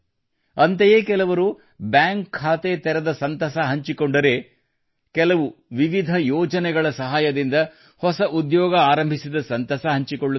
ಅಂತಯೇ ಕೆಲವರು ಬ್ಯಾಂಕ್ ಖಾತೆ ತೆರೆದ ಸಂತಸ ಹಂಚಿಕೊಂಡರೆ ಕೆಲವು ವಿವಿಧ ಯೋಜನೆಗಳ ಸಹಾಯದಿಂದ ಹೊಸ ಉದ್ಯೋಗ ಆರಂಭಿಸಿದ ಸಂತಸ ಹಂಚಿಕೊಳ್ಳುತ್ತಾರೆ